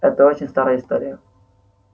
это очень старая история